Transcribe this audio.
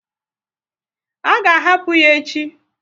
A ga ahapụ ya echi?